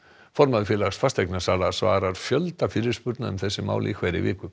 formaður Félags fasteignasala svarar fjölda fyrirspurna um þessi mál í hverri viku